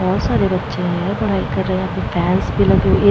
बोहोत सारे बच्चे है पढाई कर रहे हैं भी लगी हुई है।